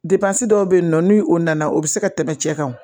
dɔw bɛ yen nɔ ni o nana o bɛ se ka tɛmɛ cɛ kan